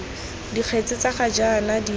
dikgetse tsa ga jaana di